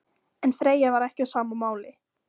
En Freyja var ekki á sama máli.